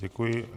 Děkuji.